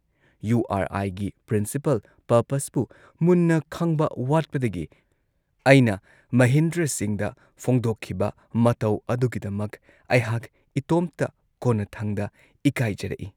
U R ꯑꯥꯏꯒꯤ principle, ꯄꯔꯄꯁꯄꯨ ꯃꯨꯟꯅ ꯈꯪꯕ ꯋꯥꯠꯄꯗꯒꯤ ꯑꯩꯅ ꯃꯍꯤꯟꯗ꯭ꯔ ꯁꯤꯡꯍꯗ ꯐꯣꯡꯗꯣꯛꯈꯤꯕ ꯃꯇꯧ ꯑꯗꯨꯒꯤꯗꯃꯛ ꯑꯩꯍꯥꯛ ꯏꯇꯣꯝꯇ ꯀꯣꯟꯅꯊꯪꯗ ꯏꯀꯥꯏꯖꯔꯛꯏ ꯫